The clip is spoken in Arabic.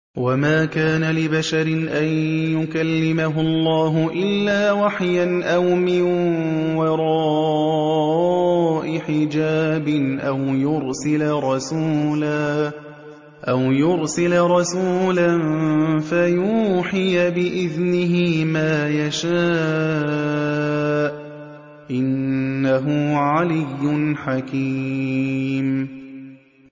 ۞ وَمَا كَانَ لِبَشَرٍ أَن يُكَلِّمَهُ اللَّهُ إِلَّا وَحْيًا أَوْ مِن وَرَاءِ حِجَابٍ أَوْ يُرْسِلَ رَسُولًا فَيُوحِيَ بِإِذْنِهِ مَا يَشَاءُ ۚ إِنَّهُ عَلِيٌّ حَكِيمٌ